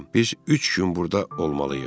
Biz üç gün burda olmalıyıq.